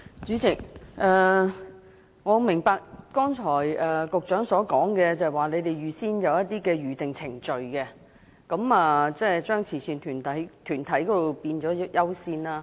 主席，我明白局長剛才所說，即政府設有《預訂程序》，並對慈善團體給予較高的優先次序。